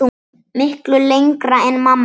Miklu lengra en mamma gerði.